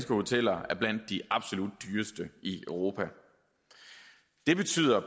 hoteller er blandt de absolut dyreste i europa det betyder